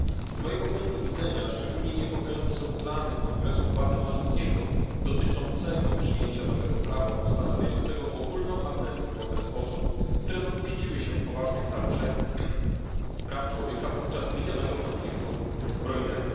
Z mojego punktu widzenia szczególnie niepokojące są plany kongresu gwatemalskiego dotyczące przyjęcia nowego prawa ustanawiającego ogólną amnestię wobec osób, które dopuściły się poważnych naruszeń praw człowieka podczas minionego konfliktu zbrojnego.